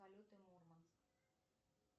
полеты мурманск